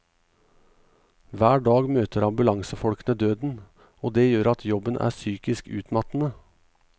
Hver dag møter ambulansefolkene døden, og det gjør at jobben er psykisk utmattende.